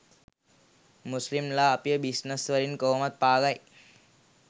මුස්ලිම් ලා අපිව බිස්නස් වලින් කොහොමත් පාගයි